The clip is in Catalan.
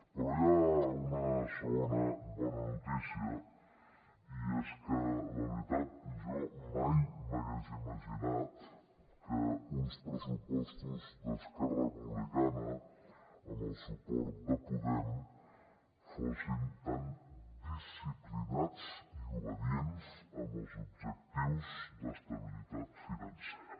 però hi ha una segona bona notícia i és que la veritat jo mai m’hagués imaginat que uns pressupostos d’esquerra republicana amb el suport de podem fossin tan disciplinats i obedients amb els objectius d’estabilitat financera